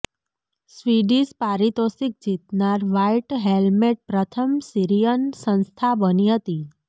Swedish પારિતોષિક જીતનાર white helmet પ્રથમ સીરિયન સંસ્થા બની હતી